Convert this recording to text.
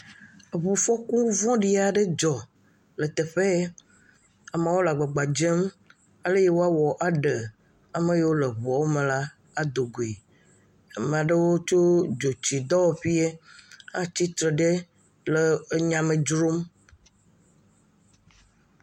Ŋufɔku vɔ̃ ɖi aɖe dzɔ le teƒe yɛ. Amewole agbagba dzem ale yi woawɔ aɖe ame yiwo le ŋua me la adogoe. Ama ɖewo tso dzotsidwɔƒeɛ atsi tre ɖe le enyame dzrom.